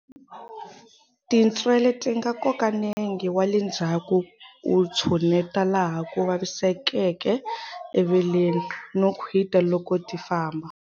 Tintswele ti nga koka nenge wa le ndzhaku u tshuneta laha ku vasisekeke eveleni, no khwita loko ti famba.